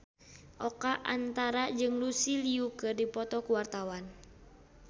Oka Antara jeung Lucy Liu keur dipoto ku wartawan